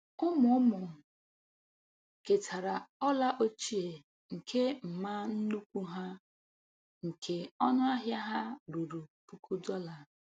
Ụmụ ụmụ ketara ọla ochie nke mma nnukwu ha, nke ọnụ ahịa ha ruru puku dọla.